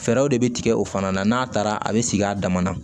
Fɛɛrɛw de bɛ tigɛ o fana na n'a taara a bɛ sigi a dama na